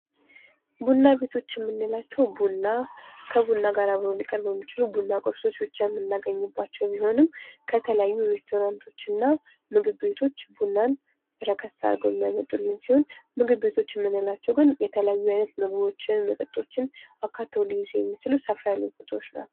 ቡና ቤቶች የምንላቸው ቡና ከቡና ጋር አብረው ሊቀርቡ የሚችሉ የቡና ቁርሶች ብቻ የምናገኝባቸው ቢሆንም ከተለያዩ ሬስቶራንቶች እና ምግብ ቤቶች ቡናን ረከስ አድርገው የሚያመጡልን ሲሆን፤ ምግብ ቤቶች የምንላቸው ግን የተለያዩ አይነት ምግቦችን መጠጦችን አካተው ሊይዙ የሚችሉ ሰፋ ያሉ ቦታዎች ናቸው።